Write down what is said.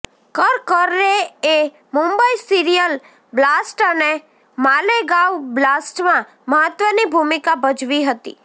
કરકરેએ Mumbai serial blast અને માલેગાંવ બ્લાસ્ટમાં મહત્વની ભૂમિકા ભજવી હતી